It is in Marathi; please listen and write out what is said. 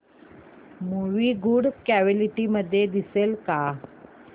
मूवी गुड क्वालिटी मध्ये दिसेल का